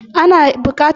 Ana bukatar ikhlasi a kotu